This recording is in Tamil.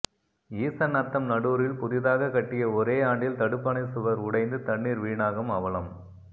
ஈசநத்தம் நடூரில் புதிதாக கட்டிய ஒரே ஆண்டில் தடுப்பணை சுவர் உடைந்து தண்ணீர் வீணாகும் அவலம்